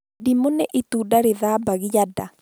Ndimũ nĩ itunda rĩthambagia nda